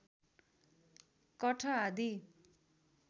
कठ आदि